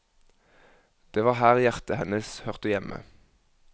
Det var her hjertet hennes hørte hjemme.